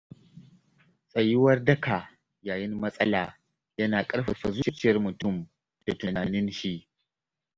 Tsayuwar daka yayin matsala yana ƙarfafa zuciyar mutum da tunaninshi.